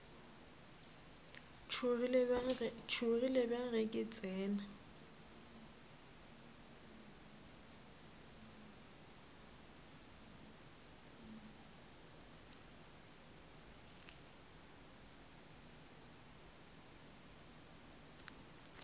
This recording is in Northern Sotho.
tšhogile bjang ge ke tsena